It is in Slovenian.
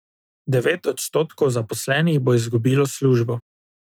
Devet odstotkov zaposlenih bo izgubilo službo.